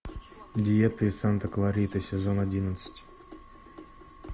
диета из санта клариты сезон одиннадцать